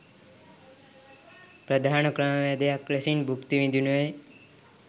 ප්‍රධාන ක්‍රමවේදයක් ලෙසින් භුක්ති විඳිනුයේ